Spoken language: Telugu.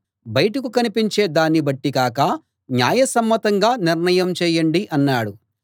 బయటకు కనిపించే దాన్ని బట్టి కాక న్యాయసమ్మతంగా నిర్ణయం చేయండి అన్నాడు